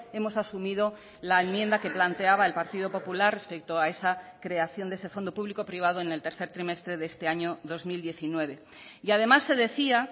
hemos asumido la enmienda que planteaba el partido popular respecto a esa creación de ese fondo público privado en el tercer trimestre de este año dos mil diecinueve y además se decía